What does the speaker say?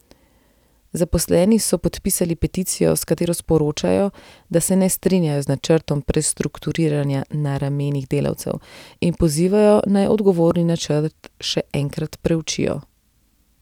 Zaposleni so podpisali peticijo, s katero sporočajo, da se ne strinjajo z načrtom prestrukturiranja na ramenih delavcev, in pozivajo, naj odgovorni načrt še enkrat preučijo.